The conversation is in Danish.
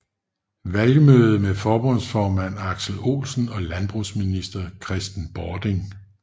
Valgmøde med forbundsformand Aksel Olsen og landbrugsminister Kristen Bording